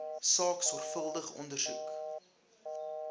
saak sorgvuldig ondersoek